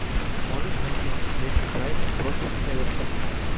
можешь найти мне встречу брайтон против эвертона